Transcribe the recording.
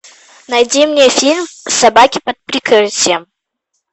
найди мне фильм собаки под прикрытием